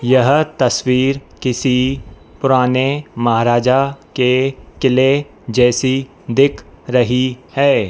यह तस्वीर किसी पुराने महाराजा के किले जैसी दिख रही है।